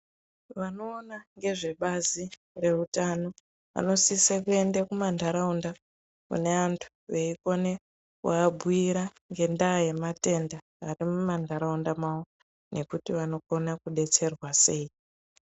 Vanoona ngezvebazi reutano vanosise kuende kuma ntaraunda kune antu veikone kuabhura ngendaa yematenda arimu mantaraunda mwavo nekuti vanokona kudetserwa sei.